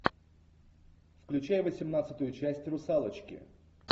включай восемнадцатую часть русалочки